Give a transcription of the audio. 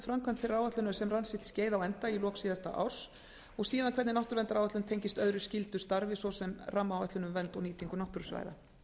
þeirrar áætlunar sem rann sitt skeið á enda í lok síðasta árs og síðan hvernig náttúruverndaráætlun tengist öðru skyldu starfi svo sem rammaáætlun um vernd og nýtingu náttúrusvæða